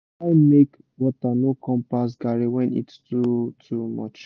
try make water no come pass garri when heat too too much